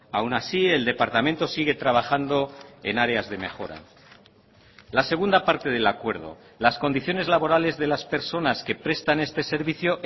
aun así el departamento sigue trabajando en áreas de mejora la segunda parte del acuerdo las condiciones laborales de las personas que prestan este servicio